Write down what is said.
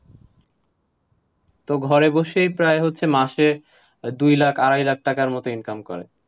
তো ঘরে বসেই প্রায় হচ্ছে মাসে, দুই লাখ, আড়াই লাখ টাকার মতো income করে।